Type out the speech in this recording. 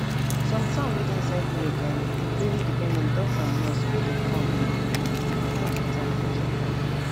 some town wey dey inside village[um]dey really depend on doctor and nurse wey dey com dey go from time to time for checkup